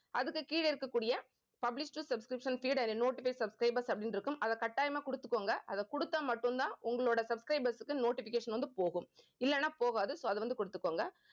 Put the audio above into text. அதுக்கு கீழ இருக்கக்கூடிய publish to subscription feed and notify subscribers அப்படின்னு இருக்கும். அதை கட்டாயமா கொடுத்துக்கோங்க. அதை கொடுத்தா மட்டும்தான் உங்களோட subscribers க்கு notification வந்து போகும். இல்லைன்னா போகாது so அது வந்து கொடுத்துக்கோங்க